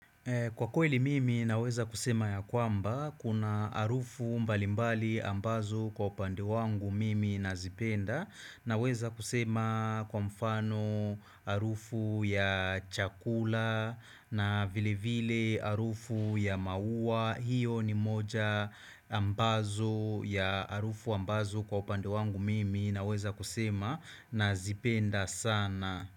Kwa kweli mimi naweza kusema ya kwamba kuna harufu mbali mbali ambazo kwa upande wangu mimi na zipenda na weza kusema kwa mfano harufu ya chakula na vile vile harufu ya mauwa hiyo ni moja ambazo ya harufu ambazo kwa upande wangu mimi na weza kusema na zipenda sana.